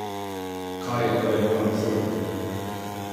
Kaj je torej bolj absurdno?